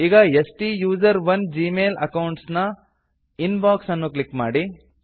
ಈಗ ಸ್ಟುಸೆರೋನ್ Gmail account ನ ಇನ್ ಬಾಕ್ಸ್ ಅನ್ನು ಕ್ಲಿಕ್ ಮಾಡಿ